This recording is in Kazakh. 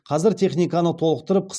қазір техниканы толықтырып